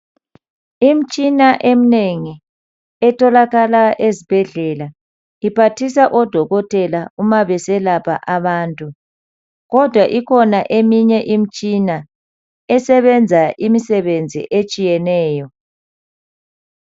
Imitshina eminengi etholakala ezibhedlela iphathisa odokotela uma beselapha abantu kodwa ikhona eminye imitshina esebenza imisebenzi etshiyeneyo .